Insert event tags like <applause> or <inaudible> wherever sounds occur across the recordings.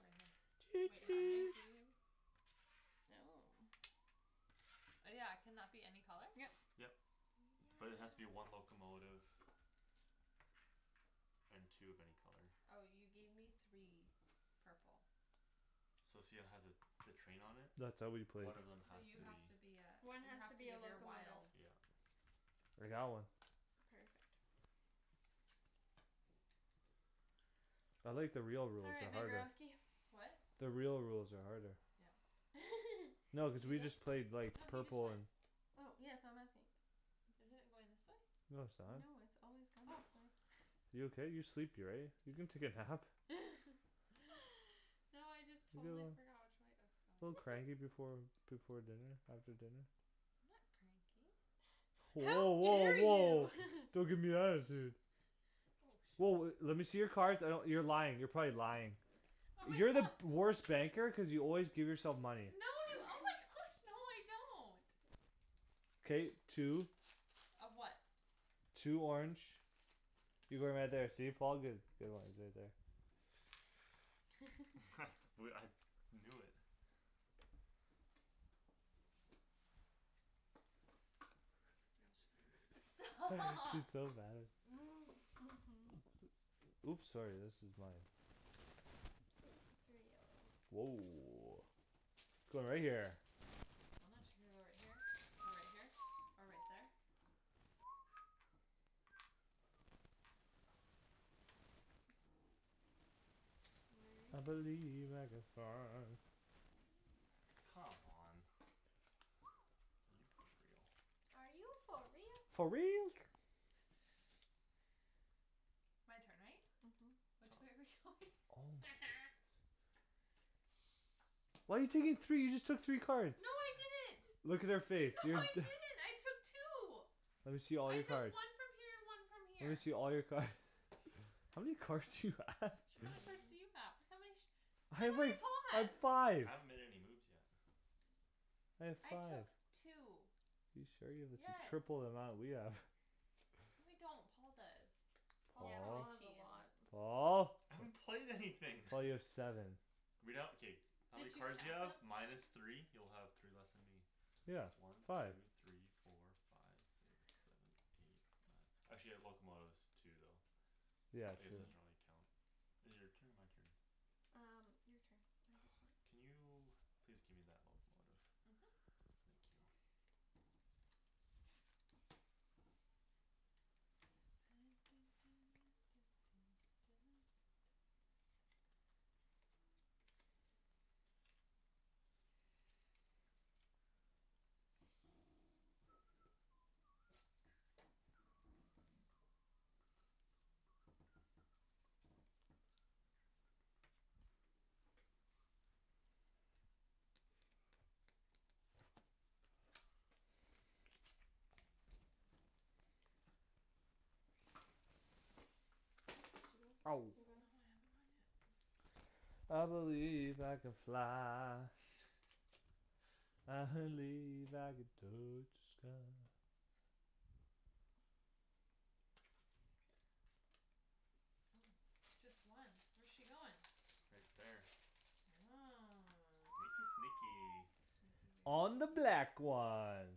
right choo here wait how many choo do you oh yeah can that be any color yep yep but it has to be one locomotive and two of any color oh you gave me three purple So see how it has a the train on it that's how we play one of them so has you to have be to be ah one you has to have to be a give your locomotive wild yeah like that one perfect I like the real all rules right they're my harder girlsky what the real rules are harder yeah <laughs> no cuz did you we just go played like no he just purple went and oh yeah so I'm asking isn't it going this way? no no it's not it's always gone oh this way you okay you're sleepy right you can take a nap <laughs> <laughs> no I just totally forgot <inaudible> which way it was a little going cranky before before dinner after dinner I'm not cranky how woah woah dare woah you don't gimme <laughs> attitude oh woah le- shit lemme see your cards I d- you're lying you're probably lying oh my you're the gosh worst banker cuz you always give yourself No. money Oh my <noise> gosh! No, no, I don't. K, two. Of what? Two orange. You're going right there. See Paul, good. <inaudible> <laughs> <noise> I knew it. <inaudible> <inaudible> Stop. <laughs> She's <laughs> so mad at <laughs> Oops, sorry. This is mine. Three yellow. Woah, going right there. I'm not su- Should I go right here? Or right here? Or right there? <noise> <noise> I <inaudible> believe I <inaudible> Come on. <noise> Are you for real? Are you for For real real? <noise> <laughs> My turn, right? Mhm. Which way <laughs> are <inaudible> we going? Oh, my goodness. <noise> Why you taking three? You just took three No, cards. I didn't. Look at her face No, I <inaudible> didn't, I took two. Lemme see all I your took cards. one from here and one from Lemme see here. all your card <laughs> How many cards do you have? How many cards do <inaudible> you have? How many? Hey, wait, I have <inaudible> five. I haven't made any moves yet. I have I five. took two. You sure you the t- Yes. triple the amount we have <laughs> No, I don't. Paul does. Paul's Yeah, Paul Paul, probably has a cheatin'. lot. Paul. I haven't played anything <noise> Well, you have seven. Read out, okay. How many Did you cards do you count have? them? Minus three? You'll have three less than me. Yeah, One, five. two, three, four, five Six, <laughs> seven, eight, nine. actually I have locomotives too though. Yeah, I guess true. I Hmm should only count Is it your turn or my turn? Um, your turn I God, just went. can you please give me that locomotive. Mhm. Thank you. <noise> <noise> <noise> Did you go? Ow. No, You I going? haven't gone yet. <noise> I believe I can fly. <laughs> I believe I can touch the sky. Okay. Oh, just one? Where's she goin'? Right there. Oh. Sneaky, sneaky. <noise> Sneaky, very On the black <inaudible> one.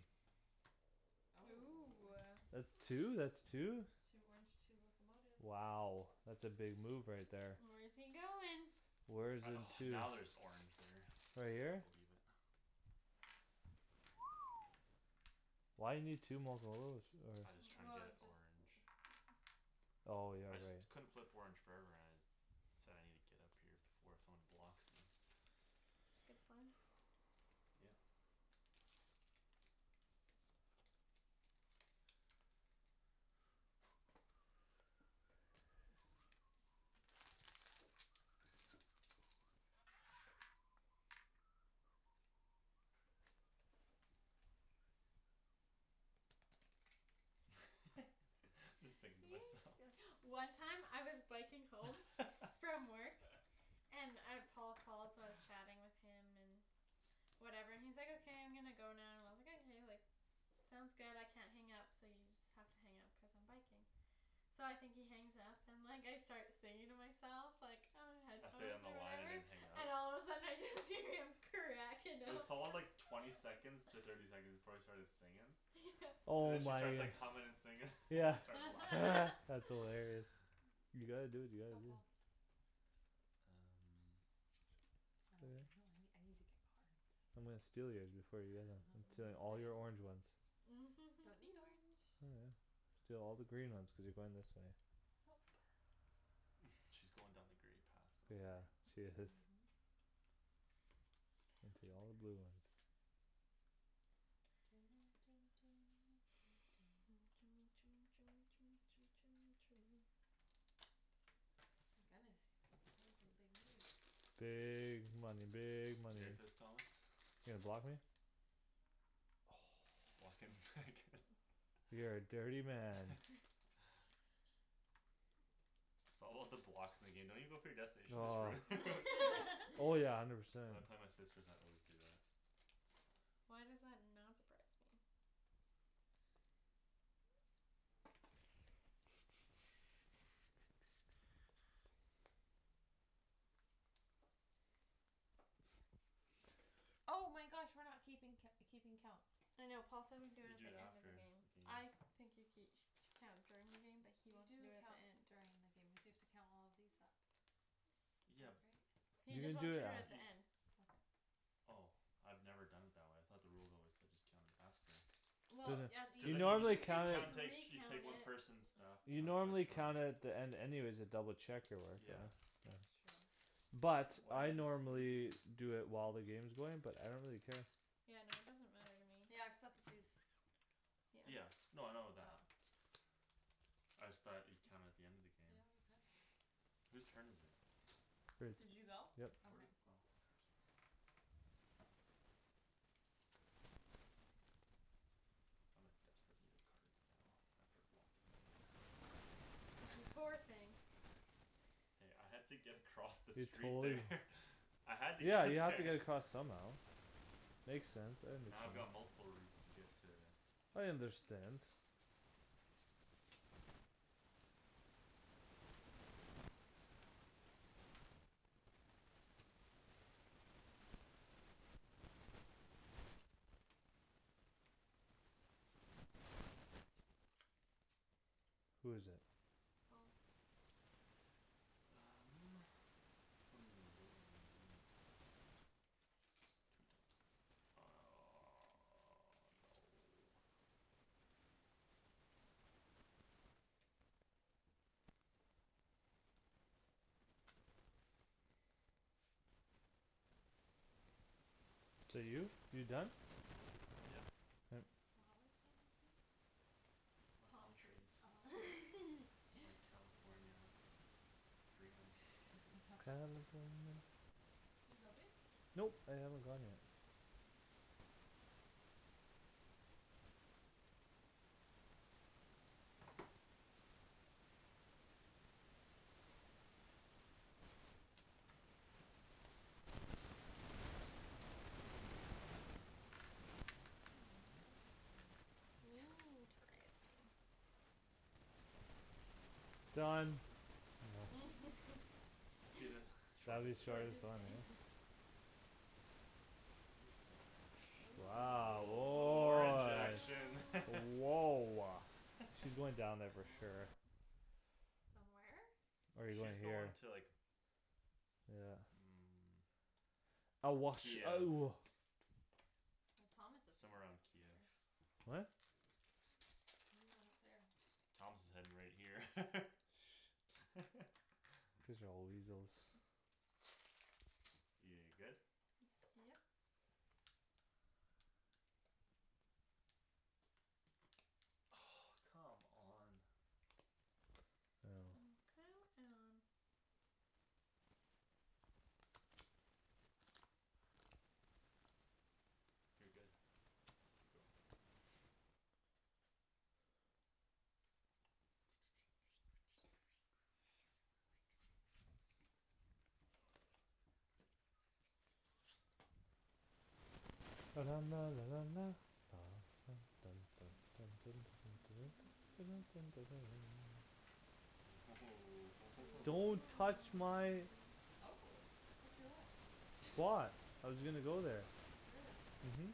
Ooh, Oh. ah. That two, that's two. Two orange, two locomotives. Wow. That's a big move right there. Where's he goin'? Where's I, in oh, two? now there's orange there. Right here? I believe it. <noise> Why you need two mocolotives or I just tryin' to Well, get just <noise> orange. Oh, yeah, I just right. couldn't flip orange <inaudible> So I need to get up here before someone blocks me. It's a good plan. Yeah. <noise> <laughs> Just You singing to myself. sill- One time I was biking home from work and uh Paul called, so I was <laughs> chatting with him and whatever and he's like, "okay I'm gonna go now" and I was like, "Okay, sounds good I can't hang up so you just have to hang up because I'm biking." So I think he hangs up and like I start singing to myself like, ah, I stayed on headphones the or line I whatever didn't hang up. And all of a sudden I just hear him cracking up there's all like cuz twenty second to thirty seconds <laughs> before I started singin' Yeah. And Oh then she my. starts like hummin' and singin' <laughs> and Yeah I start laughing. <laughs> <laughs> that's <laughs> hilarious. You gotta do what you Go gotta do. Paul. Um. Now I <noise> don't <inaudible> I need to get <inaudible> cards. I'm gonna steal yours before you get them. <laughs> I'm stealing all These your orange ones? ones. Don't need <laughs> orange. Oh, yeah. Steal all the green ones cuz you're going this way. Yup. <noise> She's going down the grey path Yeah, somewhere. she is. Mhm. <inaudible> all the blue ones. <inaudible> <noise> <noise> My goodness, he's playing some big moves. Big money, big money. <inaudible> Thomas You gonna block me? Blockin' where I <noise> can. <laughs> You're a dirty man. <noise> <laughs> It's all about the blocks. In the game don't you go for your destination, just Oh. ruin it. <laughs> <laughs> Oh, yeah, I <laughs> never said. When I play my sisters I always do that. Why does that not surprise me? <noise> <noise> Oh my gosh. We're not keeping co- keeping count. I know Paul said we could do You it do the it end of after the game. the game. I think you ke- Count during the game but he You wants to do do it at count the end. during the game cuz you have to count all of these up. Yeah. Like right He You can just do wants to it do it You at the af- just end. Okay. Oh. I've never done it that way. I thought the rules always said just count it after. There's Well Yeah, a you Cuz you then You can you I'm like just gonna count recount it at <inaudible> She take one it person's stuff. You Chunk know, I'm by gonna count chunk. it at the end anyways to double check your work Yeah. right That's <inaudible> true. But Why I is- What are you normally doing? Do it while the game's going but I don't really care. Yeah, no, it doesn't matter to Yeah, me. cuz that's what these Yeah. Yeah, Yeah. no, I know that. Oh. I just thought you'd count it at the end of the game. Yeah, we could. <noise> <noise> Who's turn is it? Did <inaudible> you go? Yep. Where'd okay. oh my cards are here I'm in desperate need of cards now. After blocking Megan. <noise> You poor thing. <laughs> Hey, I had to get across the You street totally there. <laughs> I had to get Yeah, to you have to there get across somehow. <laughs> Makes sense, I Now I've understand. got multiple routes to get to I understand. Who is it? Paul. Um, ooh, what do I need? I need Two top <noise> no Is that you? You done? Is Yeah. that- You have <noise> flowers on your face? It's my Palm palm trees. Oh. trees. It's <laughs> my California dreamin' <laughs> <laughs> California Did you go babe? Nope, I haven't gone yet. Okay. <noise> Mm. Mm, interesting. <noise> Interesting. Interesting. Done. That'd be the <laughs> Shady's Shortest Shortest destina- shortest one, eh game. <laughs> ah. Ooh, orange, ooh, a Wow, little a little orange woah action <laughs> Ooh. Woah. All She's <laughs> going down there for sure. right. Done where? No, Or you going she's here? going to like Yeah. Mm. I wash, Kiev. oh Well, Thomas is Somewhere on Kiev. <inaudible> What? You're going up there. Thomas is heading right here. Shh don't <laughs> Cuz y'all weasels <noise> You good? <noise> Yep. Oh, come on. Oh. Oh. Oh, come on. You're good to go <noise> <noise> <noise> <noise> Don't <noise> Ooh touch my hoo Oh, touch your what? Spot. <noise> I was gonna go there. Really? Mhm.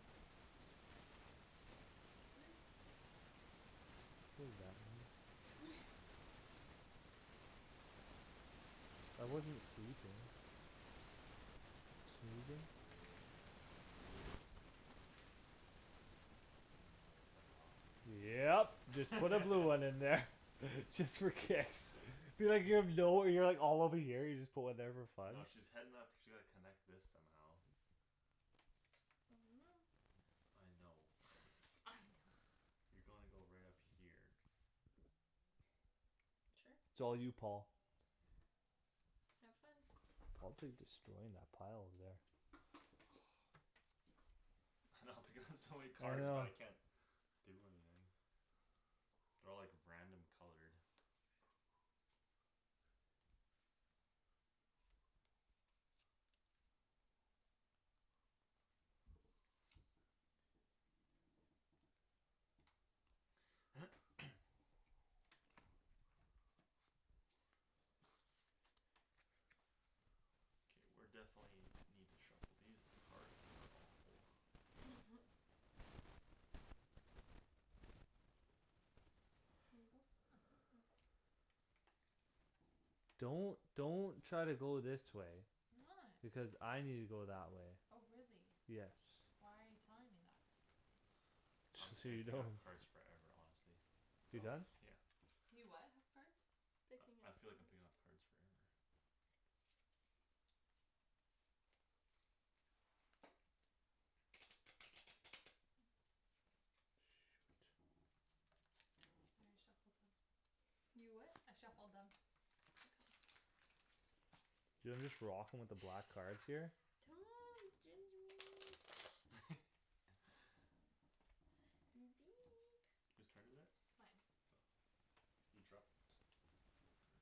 Snooze you lose. What does that mean? <laughs> <laughs> <laughs> I wasn't <inaudible> sleeping. Snoozing. Woah, Shand's making moves. Um, do I cut her off? Yep, just put a blue one in there. <laughs> Just for kicks. <laughs> <inaudible> All over here. You just put one there for fun. No, she's heading up she like connect this somehow I don't know. I know. <noise> I don't. I know. You gonna go right up here. Sure. it's all you Paul. Have fun. Paul's like destroying that pile over there. I know <laughs> I'm picking up so many I cards but know. I can't do anything. They're all like random colored. <noise> Okay, we're definitely need to shuffle. These cards are awful. <laughs> You go. Mhm. Don't don't try to go this way. I'm not. Because I need to go that way. Oh, really? Yes. Why are you telling me that? I'm Just just so gonna you pick know. up cards forever honestly. You done? Yeah. You what have cards? Picking I I up feel like I'm cards. picking up cards forever. Shoot. I already shuffled them. You what? I shuffled them. <inaudible> Do you know, I'm just rocking with the black <noise> cards here. <laughs> Who's turn is it? Mine. Oh. You dropped. Your card.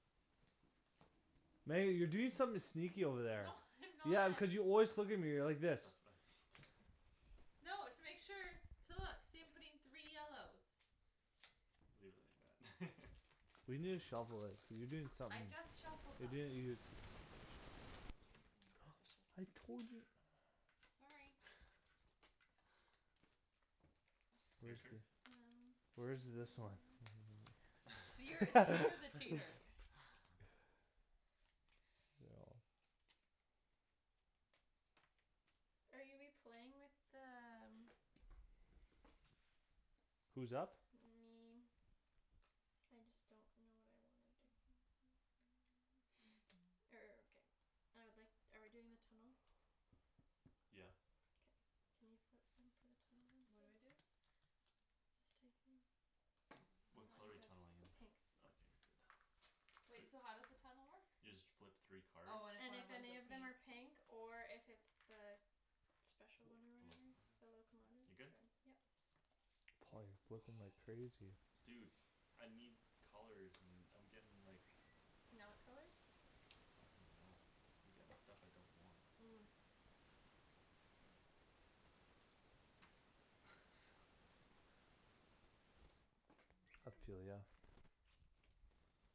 Meg, you're doing something sneaky over there. No <laughs> I'm Yeah, not. cuz you always look at me like this. That's what I need. No, it's to make sure. To look. See I'm putting three yellows. Leave it like that We need to <laughs> shuffle it. Cuz you doing I somethin' just shuffled You're them. doin', you're suspicious. I'm not doing anything <noise> suspicious. I <inaudible> told you. Sorry. <noise> <laughs> Your Where's turn. th- Um, Where is yes. this one? <noise> You're see, you're the cheater. <laughs> <laughs> <inaudible> Are you we playing with the um who's up? Me. I just don't know what I wanna do. <noise> <noise> Er, ok, I would like- Are we doing the tunnel? Yeah. Okay. Can you put some for the tunnel then What do I please? do? Just take them. Oh, What Oh. I'm color are you tunneling in? good. Pink. Okay, you're good. <noise> Wait, so how does the tunnel work? You just flip three cards. Oh, and if And one of if 'em's a any of them pink are pink or if it's the Special one or The whatever locomotive. The locomotive You're good? then, yep. Paul you're flipping like Oh. crazy. Dude I need colors and I'm getting like Not colors I don't even know. I'm getting stuff I don't want. Mm. <laughs> <inaudible>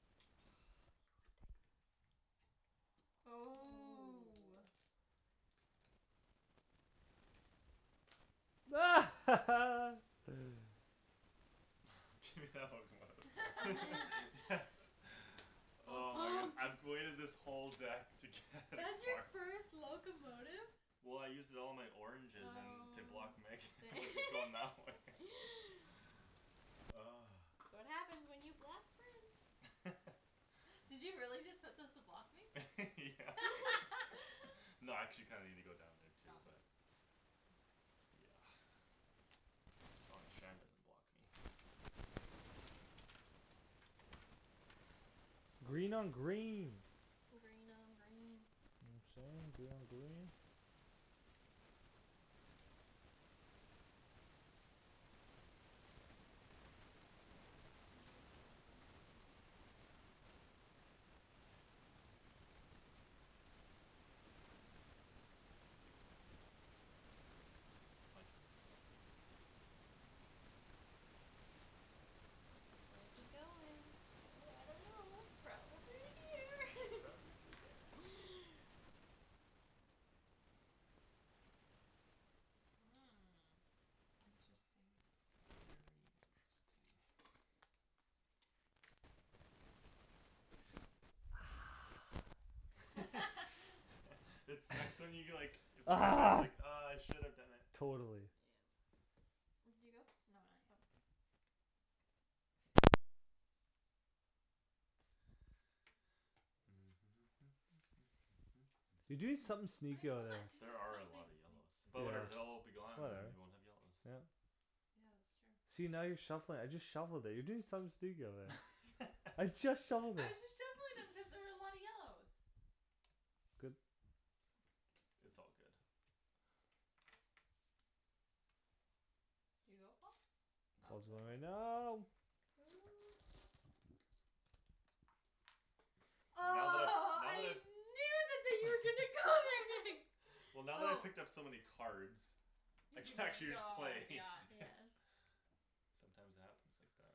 Ah, you ridiculous. Ooh. Ooh. <laughs> <laughs> Do that locomotive. <laughs> <noise> Yes. <laughs> Paul's Oh my goodness, pumped. I've waited this whole deck to get a That's your card first <laughs> locomotive? Well, I used it all in my oranges and to block Megan. Oh to <laughs> going that way dang <laughs> <laughs> <noise> That's what happens when you block friends. <laughs> Did you really just put those to block <laughs> me? Yeah. <laughs> <laughs> No, I actually kinda needed to go down there Oh, too but okay. Yeah. <noise> As long as Shan doesn't block me. <noise> <laughs> Green on green. Green on green. You know what I'm sayin', green on green. <inaudible> Mhm. <noise> My turn? Yep. Where's he going? Ooh, ooh, I don't know. Probably <laughs> here. Probably there. <laughs> Hmm, Hmm, interesting. interesting. <noise> Very interesting. <noise> <laughs> <laughs> <laughs> It sucks when you get like Ah. <inaudible> Ah, I should have done it. Yeah. Totally. Did you go? No, not yet. Okay. <noise> You doing something sneaky over I'm not there. doing There are a something lot of yellows. sneaky. But, yeah, But whatever. They'll all be gone, and whatever, then we won't have yellows. yeah. Yeah, that's true. See, now you're shuffling it. I just shuffled it. You're doing something sneaky over there. <laughs> I I'm just just shuffled it. shuffling them cuz there <laughs> was a lot of yellows. Good. It's all good. Did you go Paul? Oh. Good Paul's going right now. now. Ooh. Oh, Now that I've, now that I I've knew that that you were gonna <laughs> go there next. <laughs> Well, now that I Oh. picked up so many cards I You can can just actually go, play yeah Yeah. <laughs> Sometimes it happens like that.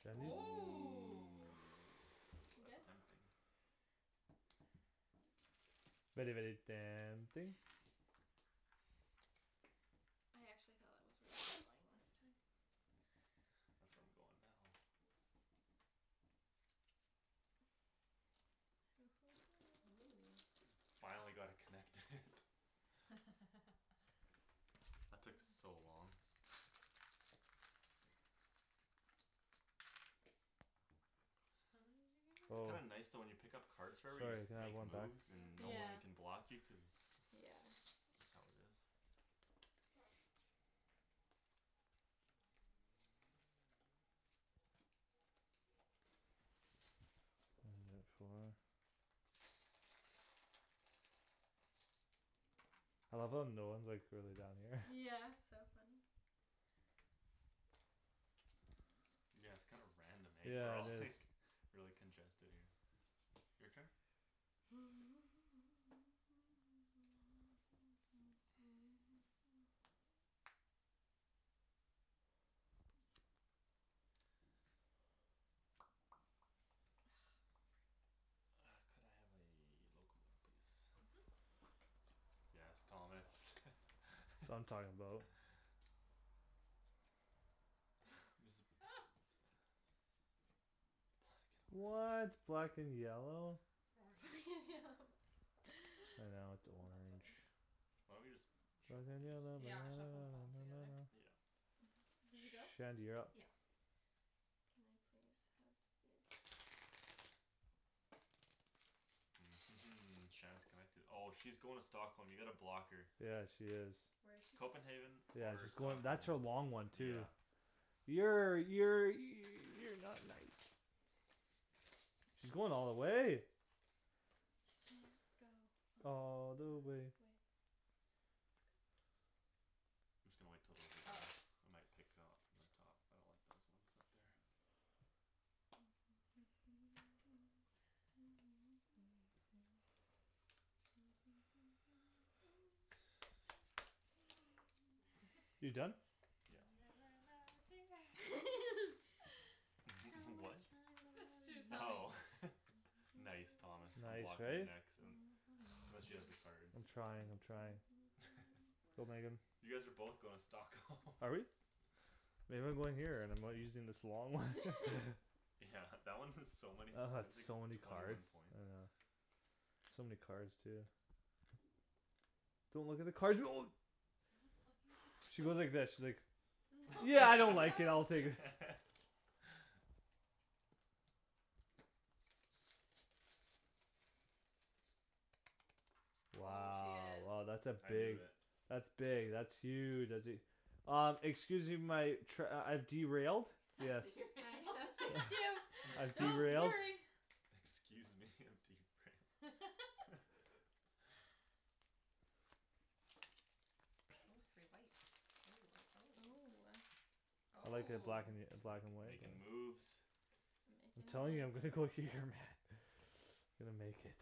Shandy. Ooh, Ooh. Ooh, you good? that's tempting. <noise> Very, very tempting. I actually thought that was were you were <noise> <noise> <noise> going last time. That's where I'm going now. Hoo hoo Ooh. hoo Finally got it connected. <laughs> <laughs> <laughs> That took Um. so long. How many did It's you Oh. kinda give me <inaudible> nice though when you pick up cards forever you just Sorry, can have makes one back? moves and Yeah. Yeah, no yeah. one can block you cuz that's how it is. End at four. I love how no one's like really down here. Yeah, <laughs> it's so funny. Yeah, it's kinda random, eh, we're Yeah, all it is. like Really congested here. Your turn? <noise> Ah, freak. <noise> Ah, could I have a locomotive please? Mhm. Yes, Thomas <laughs> That's what I'm talkin' about. <noise> There's a Oh. What <inaudible> black and yellow? Orange <laughs> It's I know not it's a orange. funny. Why don't we just Black shuffle and these? yellow Yeah, shuffle 'em all together. <noise> Yeah. <noise> Did you go? Shandy, you're up. Yeah. Can I please have this? <noise> Shand's connected. Oh, she's going to Stockholm. You gotta block her. Yeah, she is. Where's she going? Copenhagen. Yeah, Or she's going. Stockholm, That's her long one too yeah. Yeah, yeah, you you're not nice. She's going all the way. Can go all All the the way. way I'm just gonna wait till those are done. Oh. I might pick up from the top. I don't like those ones up there. <noise> <laughs> You done? You'll Yeah. never know dear <laughs> <laughs> How <laughs> What? much That's what I she was love humming. Oh you. <laughs> Nice. Thomas, I'm Nice, blocking you eh? next. I'm I'm not sure she has the <noise> cards. I'm trying, I'm trying. Go, Megan. <laughs> <noise> You guys are both going to Stockholm. <laughs> Are we? Maybe I'm going here and I'm using this long one <laughs> <laughs> Yeah <laughs> That one is so many I had points, like, so many twenty one cards, I points. know. So many cards too. Don't look at the cards. <noise> I wasn't looking at the cards. She went like this. She's like No. Yeah, I don't <laughs> like it, I'll No. <laughs> take it. <laughs> Oh, she Wow, is oh, that's a I knew big it. That's big, that's huge, that's e- Uh, excuse me my trai- I've derailed. Yes. I'm gonna fix you, I've <laughs> don't derailed. worry. <laughs> Excuse me, I'm derailed. <laughs> <laughs> Oh, three whites, oh, oh, Ooh, oh. ah. I like it black Oh. an- Make black and white but makin' moves I'm telling you I'm gonna go here, man. <inaudible> <noise> I'm gonna make it.